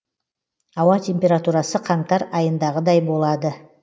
ауа температурасы қаңтар айындағыдай болады